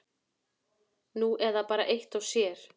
Nú eða bara eitt og sér.